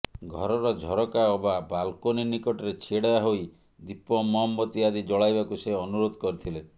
ଘରର ଝରକା ଅବା ବାଲ୍କୋନୀ ନିକଟରେ ଛିଡ଼ା ହୋଇ ଦୀପ ମହମବତୀ ଆଦି ଜଳାଇବାକୁ ସେ ଅନୁରୋଧ କରିଥିଲେ